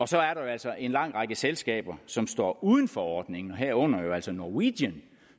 så er der jo altså en lang række selskaber som står uden for ordningen og herunder jo altså norwegian